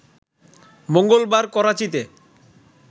মঙ্গলবার করাচিতে